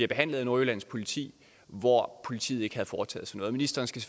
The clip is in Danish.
behandles af nordjyllands politi men hvor politiet ikke havde foretaget sig noget ministeren skal